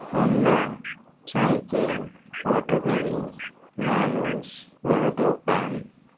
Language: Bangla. হোন্ডা সাইকেল আউটো গাড়ী মানুউষ বড় দোকান